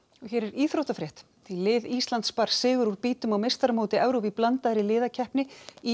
lið Íslands bar sigur úr býtum á meistaramóti Evrópu í blandaðri liðakeppni í